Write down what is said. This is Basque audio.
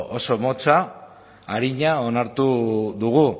oso motza arina onartu dugu